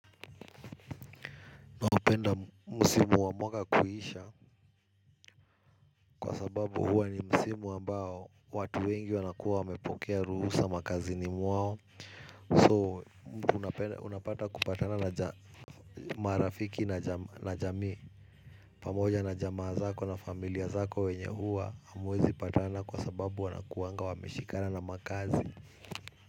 Naupenda musimu wa mwaka kuisha kwa sababu huwa ni musimu ambao watu wengi wanakuwa wamepokea ruhusa makazini mwao So unapata kupatana na marafiki na jamii pamoja na jamaa zako na familia zako wenye huwa hamwezi patana kwa sababu wanakuanga wameshikana na makazi.